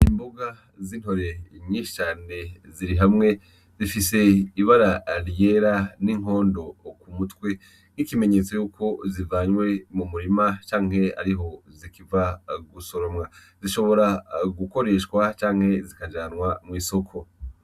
Imbuga z'intore inyishane ziri hamwe zifise ibara aliyera n'inkondo ku mutwe nk'ikimenyetso yuko zivanywe mu murima canke ariho zikiva gusoromwa zishobora gukoreshwa canke zikajanwa mw'isoko.